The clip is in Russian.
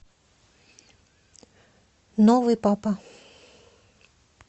новый папа